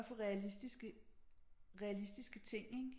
At få realistiske realistiske ting ikke